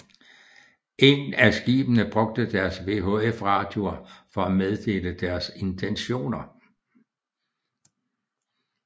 Ingen af skibene brugte deres VHF radioer for at meddele deres intentioner